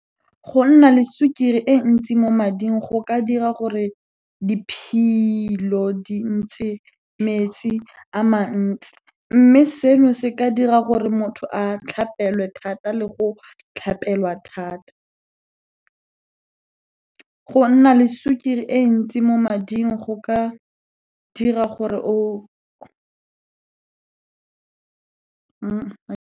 Go nna le sukiri e ntsi mo mading go ka dira gore diphilo dintshe metsi a mantsi, mme seno se ka dira gore motho a tlhapelwe thata le go o tlhapelwa thata. Go nna le sukiri e ntsi mo mading go ka dira gore o, .